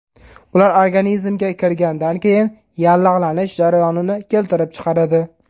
Ular organizmga kirganidan keyin yallig‘lanish jarayonini keltirib chiqaradi.